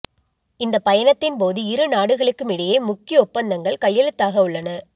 இந்த பயணத்தின்போது இரு நாடுகளுக்கும் இடையே முக்கிய ஒப்பந்தங்கள் கையெழுத்தாக உள்ளன